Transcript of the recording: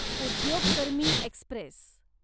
उद्योग कर्मी एक्स्प्रेस